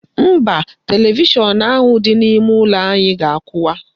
Mba, televishọn ahụ dị n'ime ụlọ anyị ga-akwụwa.